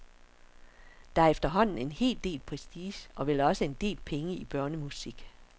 Der er efterhånden en hel del prestige og vel også en del penge i børnemusik.